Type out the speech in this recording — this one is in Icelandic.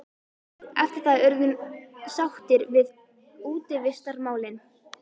Eftir það urðum sáttar við útivistarmálin.